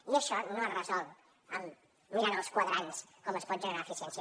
i això no es resol mirant als quadrants com es pot generar eficiència